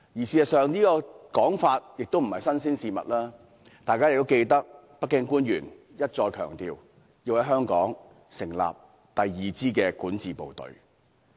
事實上，這說法並不是甚麼新鮮事物，相信大家仍然記得，北京官員一再強調要在香港成立第二支管治部隊。